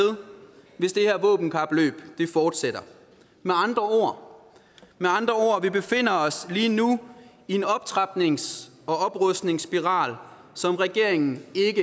hvis det her våbenkapløb fortsætter med andre ord vi befinder os lige nu i en optrapnings og oprustningsspiral som regeringen